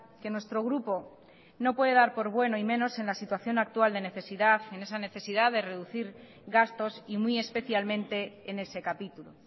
que nuestro grupo no puede dar por bueno y menos en la situación actual de necesidad en esa necesidad de reducir gastos y muy especialmente en ese capítulo